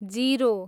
zero